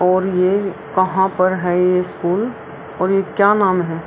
और ये कहाँ पे है ये स्कूल और क्या नाम है।